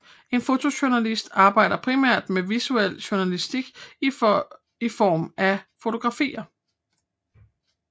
En fotojournalist arbejder primært med visuel journalistik i form af fotografier